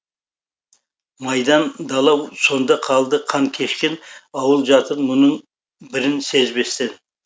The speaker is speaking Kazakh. майдан дала соңда қалды қан кешкен ауыл жатыр мұның бірін сезбестен